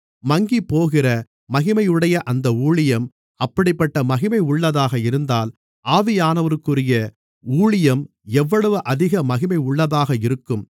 மங்கிப்போகிற மகிமையுடைய அந்த ஊழியம் அப்படிப்பட்ட மகிமையுள்ளதாக இருந்தால் ஆவியானவருக்குரிய ஊழியம் எவ்வளவு அதிக மகிமையுள்ளதாக இருக்கும்